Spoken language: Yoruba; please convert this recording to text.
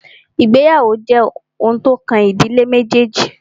Ìgbéyàwó jẹ́ oun tí o kàn ìdílé méjèèjì.